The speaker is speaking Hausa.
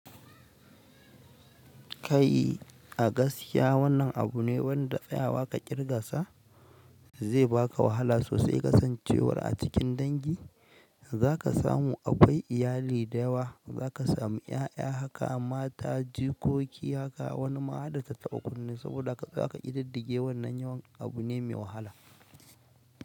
Kai a gaskiya wannan abu ne wanda tsayawa ka kirgasa zai baka wahala sosai kasancewar a cikin dangi za ka samu akwai iyali da yawa, za ka samu ƴaƴa haka, mata, jikoki haka. Wani ma hadda tataɓa kunne saboda haka za ka ƙididdige wannan yawan abu ne mai wahala.